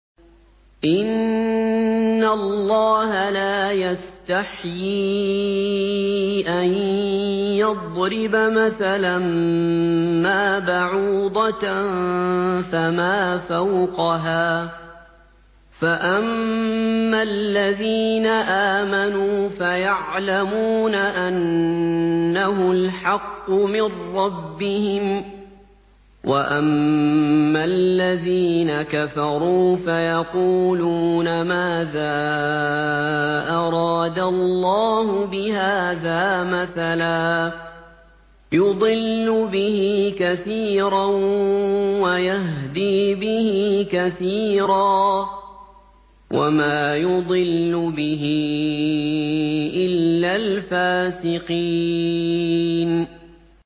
۞ إِنَّ اللَّهَ لَا يَسْتَحْيِي أَن يَضْرِبَ مَثَلًا مَّا بَعُوضَةً فَمَا فَوْقَهَا ۚ فَأَمَّا الَّذِينَ آمَنُوا فَيَعْلَمُونَ أَنَّهُ الْحَقُّ مِن رَّبِّهِمْ ۖ وَأَمَّا الَّذِينَ كَفَرُوا فَيَقُولُونَ مَاذَا أَرَادَ اللَّهُ بِهَٰذَا مَثَلًا ۘ يُضِلُّ بِهِ كَثِيرًا وَيَهْدِي بِهِ كَثِيرًا ۚ وَمَا يُضِلُّ بِهِ إِلَّا الْفَاسِقِينَ